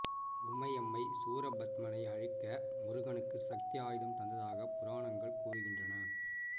உமையம்மை சூரபத்மனை அழிக்க முருகனுக்கு சக்தி ஆயுதம் தந்ததாக புராணங்கள் கூறுகின்றன